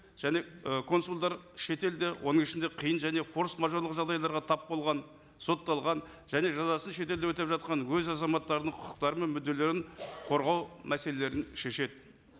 және і консулдар шетелде оның ішінде қиын және форс мажордық жағдайларға тап болған сотталған және жазасын шетелде өтеп жатқан өз азаматтарының құқықтары мен мүдделерін қорғау мәселелерін шешеді